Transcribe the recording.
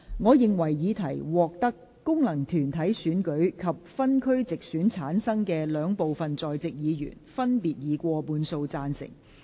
我認為議題獲得經由功能團體選舉產生及分區直接選舉產生的兩部分在席議員，分別以過半數贊成。